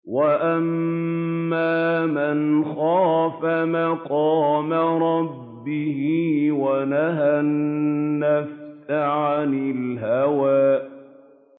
وَأَمَّا مَنْ خَافَ مَقَامَ رَبِّهِ وَنَهَى النَّفْسَ عَنِ الْهَوَىٰ